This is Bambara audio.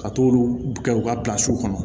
Ka t'olu kɛ u ka kɔnɔ